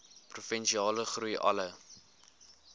provinsiale groei alle